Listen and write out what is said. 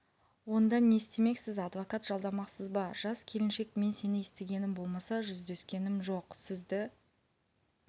он да не істемексіз адвокат жалдамақсыз ба жас келіншек мен сені естігенім болмаса жүздескенім жоқ сізді